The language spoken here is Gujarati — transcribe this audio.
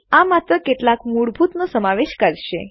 આ માત્ર કેટલાક મૂળભૂત નો સમાવેશ કરશે